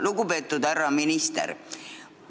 Lugupeetud härra minister!